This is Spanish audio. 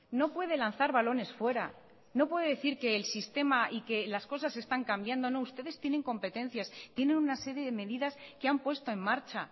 no puede lanzar balones fuera no puede decir que el sistema y que las cosas están cambiando no ustedes tienen competencias tienen una serie de medidas que han puesto en marcha